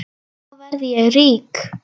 Þá verð ég rík.